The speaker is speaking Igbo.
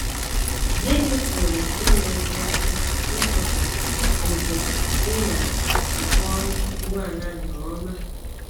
Gịnị pụrụ inyere gị aka ịchọpụta ókè ị na - akwọru ụgbọala nke ọma?